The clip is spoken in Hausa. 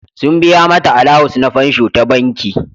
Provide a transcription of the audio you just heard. Sun biya mata alawus ns fansho ta banki.